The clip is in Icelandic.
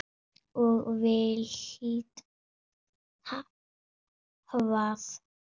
Og vilt hvað?